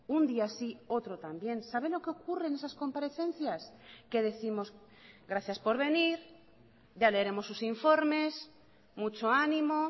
un día sí y otro también sabe lo que ocurre en esas comparecencias que décimos gracias por venir ya leeremos sus informes mucho animo